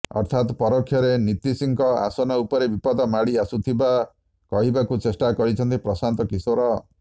ଅର୍ଥାତ ପରୋକ୍ଷରେ ନୀତୀଶଙ୍କ ଆସନ ଉପରେ ବିପଦ ମାଡ଼ି ଆସୁଥିବା କହିବାକୁ ଚେଷ୍ଠା କରିଛନ୍ତି ପ୍ରଶାନ୍ତ କିଶୋର